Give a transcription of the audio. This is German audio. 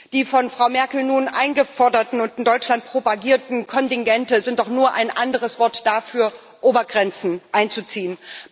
Die von Frau Merkel nun eingeforderten und in Deutschland propagierten Kontingente sind doch nur ein anderes Wort dafür, Obergrenzen einzuziehen.